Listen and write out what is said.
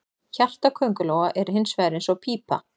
Hjarta köngulóa er hins vegar eins og pípa.